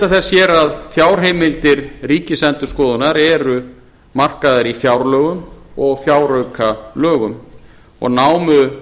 þess hér að fjárheimildir ríkisendurskoðunar eru markaðar í fjárlögum og fjáraukalögum og námu